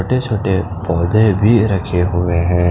छोटे छोटे पोधे भी रखे हुए हैं ।